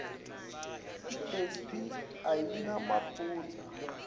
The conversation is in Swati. itheksthi ayinamaphutsa